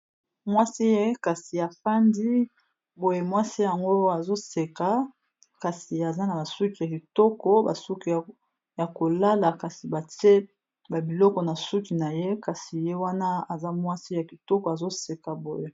Mwasi afandi azoseka, kasi aza na basuki ya kitoko basuki ya kolala kasi batie babiloko na suki na ye, aza mwasi ya kitoko azoseka boye.